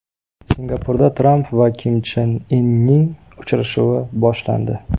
Singapurda Tramp va Kim Chen Inning uchrashuvi boshlandi.